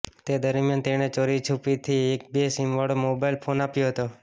તે દરમિયાન તેણે ચોરી છુપીથી એક બે સીમવાળો મોબાઈલ ફોન આપ્યો હતો